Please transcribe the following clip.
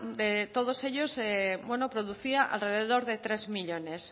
todos ellos producía alrededor de tres millónes